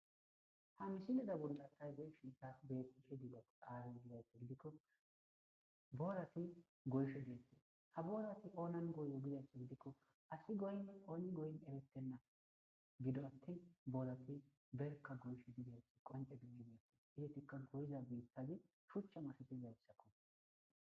Ha misine dabonda tay ze shita beishe dilo aara gidata gidikko boorati goyshe diette ha boorati oonan goyo gidaa gidikko asi goyne ooni goyn eretenna gido attin boolati berka goysho didesi qonce dimin atis izetikka goyiza biittazi shuchcha masatizarsakko.